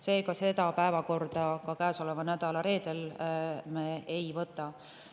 Seega me seda käesoleva nädala reedel päevakorda ei võta.